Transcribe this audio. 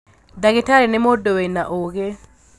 Ndagītarī nī mūndū wīna ūgī